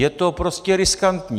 Je to prostě riskantní.